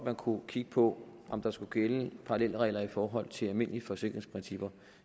kunne kigge på om der skulle gælde parallelregler i forhold til almindelige forsikringsprincipper